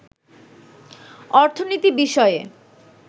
অর্থনীতি বিষয়ে